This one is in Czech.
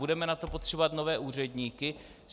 Budeme na to potřebovat nové úředníky?